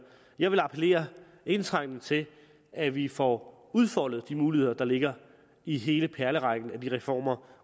jeg vil appellere indtrængende til at vi får udfoldet de muligheder der ligger i hele perlerækken af reformer